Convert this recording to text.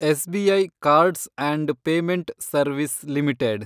SBI cards and payment service limited